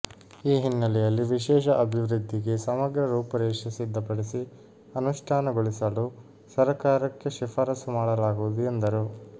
ಈ ಹಿನ್ನೆಲೆಯಲ್ಲಿ ವಿಶೇಷ ಅಭಿವೃದ್ಧಿಗೆ ಸಮಗ್ರ ರೂಪುರೇಷೆ ಸಿದ್ಧಪಡಿಸಿ ಅನುಷ್ಠಾನಗೊಳಿಸಲು ಸರಕಾರಕ್ಕೆ ಶಿಫಾರಸು ಮಾಡಲಾಗುವುದು ಎಂದರು